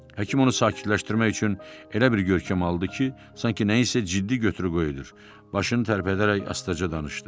Həkim onu sakitləşdirmək üçün elə bir görkəm aldı ki, sanki nəyinsə ciddi götürüb edir, başını tərpədərək astaca danışdı.